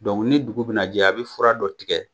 ni dugu bina jɛ, a bi fura dɔ tigɛ